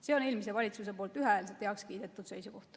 See on eelmise valitsuse ühehäälselt heaks kiidetud seisukoht.